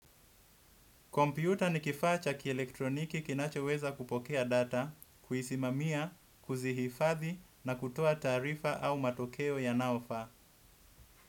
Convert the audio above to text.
Kompyuta ni kifaa cha kielektroniki kinacho weza kupokea data, kuisimamia, kuzihifathi na kutoa taarifa au matokeo yanaofaa.